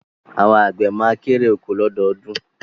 Àwọn àgbẹ̀ ma kérè oko lọ́dọọdún